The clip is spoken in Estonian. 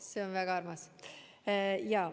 See on väga armas.